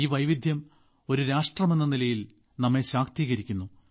ഈ വൈവിധ്യം ഒരു രാഷ്ട്രമെന്ന നിലയിൽ നമ്മെ ശാക്തീകരിക്കുന്നു